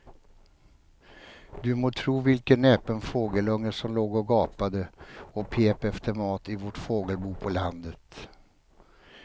Du må tro vilken näpen fågelunge som låg och gapade och pep efter mat i vårt fågelbo på landet.